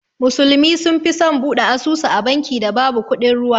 Musulmi sun fi son bude asusu a banki da babu kudin ruwa.